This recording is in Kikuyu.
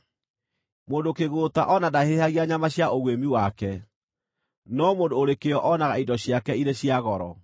Mũndũ kĩgũũta o na ndahĩhagia nyama cia ũguĩmi wake, no mũndũ ũrĩ kĩyo onaga indo ciake irĩ cia goro.